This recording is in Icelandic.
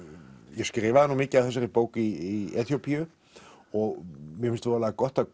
ég skrifaði mikið af þessari bók í Eþíópíu og mér finnst voðalega gott að